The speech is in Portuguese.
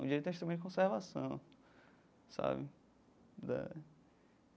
O direito é um instrumento de conservação sabe da.